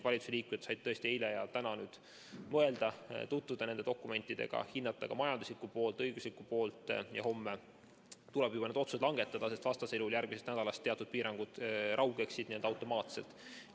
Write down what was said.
Valitsuse liikmed said tõesti eile ja täna mõelda, tutvuda nende dokumentidega, hinnata ka majanduslikku poolt, õiguslikku poolt ja homme tuleb juba need otsused langetada, sest vastasel juhul järgmisest nädalast teatud piirangud raugeksid n‑ö automaatselt.